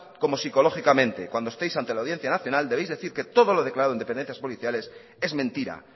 como psicológicamente cuando estéis ante la audiencia nacional debéis decir que todo lo declarado en dependencias policiales es mentira